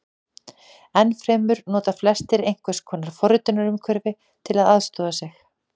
Enn fremur nota flestir einhvers konar forritunarumhverfi til að aðstoða sig.